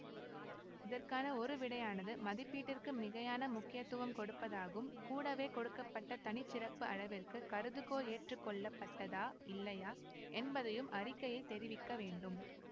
இதற்கான ஒரு விடையானது மதிப்பீட்டிற்கு மிகையான முக்கியத்துவம் கொடுப்பதாகும் கூடவே கொடுக்க பட்ட தனி சிறப்பு அளவிற்கு கருதுகோள் ஏற்றுக்கொள்ளப்பட்டதா இல்லையா என்பதையும் அறிக்கையில் தெரிவிக்க வேண்டும்